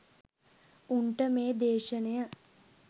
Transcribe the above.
උන්ට මේ දේශනය